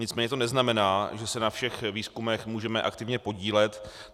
Nicméně to neznamená, že se na všech výzkumech můžeme aktivně podílet.